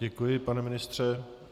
Děkuji, pane ministře.